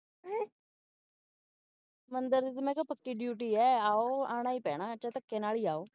ਮੰਦਰ ਚੋਂ ਮੈਂ ਕਿਹਾ ਪੱਕੀ duty ਹੈ ਆਉ ਆਣਾ ਹੀ ਪੈਣਾ ਚਾਹੇ ਧਕੇ ਨਾਲ ਹੀ ਆਓ